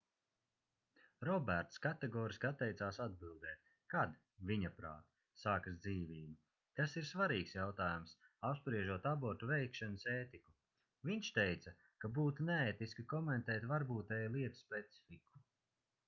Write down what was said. roberts kategoriski atteicās atbildēt kad viņaprāt sākas dzīvība tas ir svarīgs jautājums apspriežot abortu veikšanas ētiku viņš teica ka būtu neētiski komentēt varbūtēju lietu specifiku